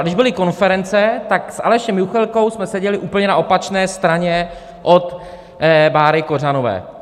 A když byly konference, tak s Alešem Juchelkou jsme seděli na úplně opačné straně od Báry Kořanové.